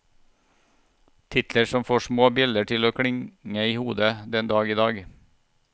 Titler som får små bjeller til å klinge i hodet den dag i dag.